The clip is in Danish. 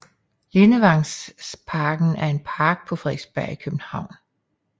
Lindevangsparken er en park på Frederiksberg i København